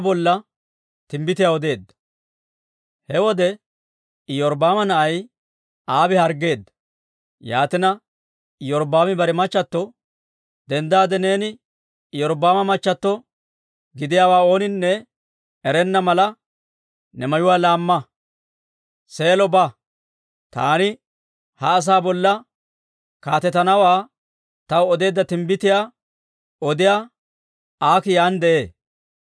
Yaatina, Iyorbbaami bare machchato, «Denddaade neeni Iyorbbaama machchato gidiyaawaa ooninne erenna mala, ne mayuwaa laamma; Seelo ba. Taani ha asaa bolla kaatetanawaa taw odeedda timbbitiyaa odiyaa Aakii yaan de'ee.